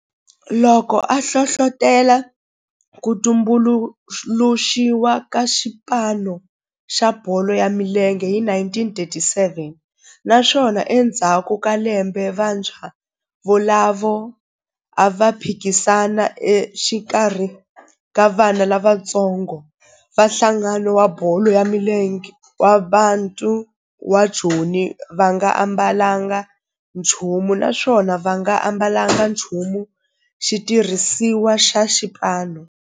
loko a hlohlotela ku tumbuluxiwa ka xipano xa bolo ya milenge hi 1937 naswona endzhaku ka lembe vantshwa volavo a va phikizana exikarhi ka vana lavatsongo va nhlangano wa bolo ya milenge wa Bantu wa Joni va nga ambalanga nchumu naswona va nga ambalanga nchumu xitirhisiwa xa xipano.